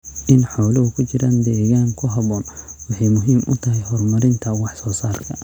In xooluhu ku jiraan deegaan ku habboon waxay muhiim u tahay horumarinta wax soo saarka.